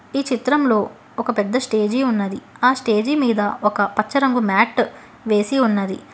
ఈ చిత్రంలో ఒక పెద్ద స్టేజి ఉన్నది ఆ స్టేజి మీద ఒక పచ్చ రంగు మ్యాట్ వేసి ఉన్నది.